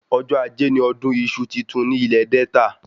Ọjọ́ ajé ni ọdún iṣu titun ní ilè Delta